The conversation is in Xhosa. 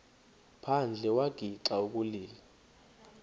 phandle wagixa ukulila